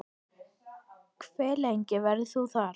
Hve lengi verður þú þarna?